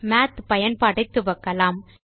மாத் பயன்பாட்டை துவக்கலாம்